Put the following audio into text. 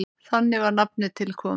Þannig var nafnið til komið.